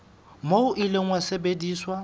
moo o ile wa sebediswa